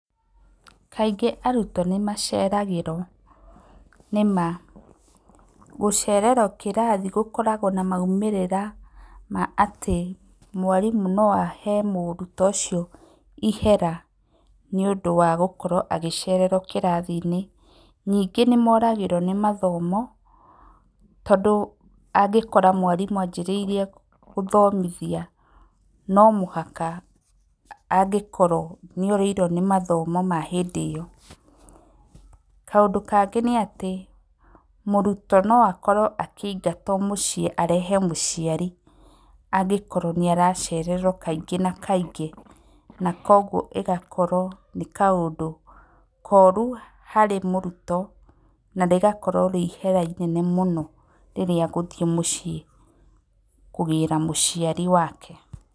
Kaingĩ arutwo nĩ maceragĩrwo. Nĩma gũcererwo kĩrathi gũkoragwo maumĩrĩra atĩ mwarimu noahe mũrutwo ũcio ihera nĩũndũ wa gũkorwo agĩcererwo kĩrathi-inĩ. Ningĩ nĩmoragĩrwo nĩ gĩthomo tondũ angĩkora mwarimũ anjĩrĩirie gũthomithia, nomũhaka angĩkorwo nĩ orĩirwo nĩ mathomo ma hĩndĩ ĩyo. Kaũndũ kangĩ nĩ atĩ, mũrutwo no akorwo akĩingatwo mũciĩ arehe mũciari angĩkorwo nĩ aracererwo kaingĩ na kaingĩ. Na koguo ĩgakorwo nĩ kaũndũ koru harĩ mũrutwo, na rĩgakorwo rĩihera rĩnene mũno harĩ mũrutwo rĩrĩa egũthiĩ mũciĩ kũgĩra mũciari wake.